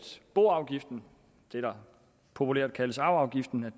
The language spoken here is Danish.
boafgiften det der populært kaldes arveafgiften